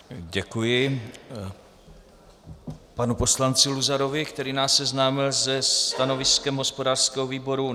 Děkuji panu poslanci Luzarovi, který nás seznámil se stanoviskem hospodářského výboru.